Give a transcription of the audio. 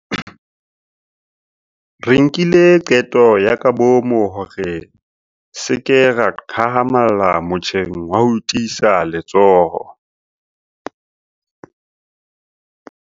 Re nkile qeto ya kabomo ya hore re se ke ra hahamalla motjheng wa ho tiisa letsoho.